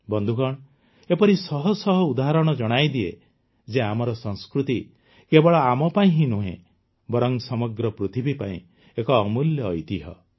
ବନ୍ଧୁଗଣ ଏପରି ଶହଶହ ଉଦାହରଣ ଜଣାଇଦିଏ ଯେ ଆମର ସଂସ୍କୃତି କେବଳ ଆମ ପାଇଁ ହିଁ ନୁହଁ ବରଂ ସମଗ୍ର ପୃଥିବୀ ପାଇଁ ଏକ ଅମୂଲ୍ୟ ଐତିହ୍ୟ